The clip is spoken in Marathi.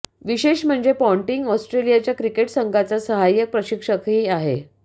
विशेष म्हणजे पॉन्टिंग ऑस्ट्रेलियाच्या क्रिकेट संघाचा सहाय्यक प्रशिक्षकही आहे